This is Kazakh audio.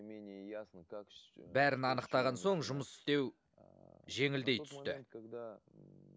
менее ясно как бәрін анықтаған соң жұмыс істеу жеңілдей түсті тот момент когда